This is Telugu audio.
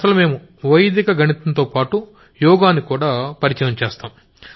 అసలు మేం వైదిక గణితంతోపాటుగా యోగానికడా ఇంట్రడ్యూస్ చేశాం